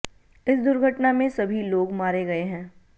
इस दुर्घटना में सभी लोग मारे गये हैं